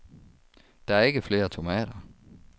Der er ikke flere tomater.